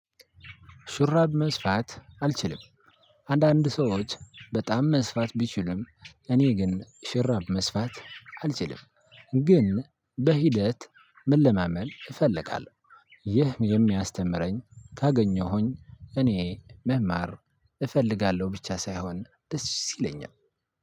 ሹራብ መስፋት አልችልም። አንዳንድ ሰዎች በጣም መስፋት ቢችሉም እኔ ግን ሽራብ መስፋት አልችልም። ግን በሂደት መለማመድ እፈልጋለሁ። ይህ የሚያስተምረኝ ካገኘሁኝ እኔ መማር እፈልጋለሁ ብቻ ሳይሆን ደስ ይለኛል።